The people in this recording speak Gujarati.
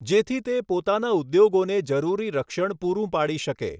જેથી તે પોતાના ઉદ્યોગોને જરૂરી રક્ષણ પૂરું પાડી શકે.